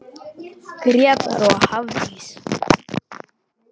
Grétar og Hafdís.